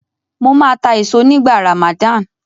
Mó máa ta èso nígbà Ramadan.